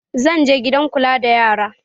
Zan je gidan kula da yara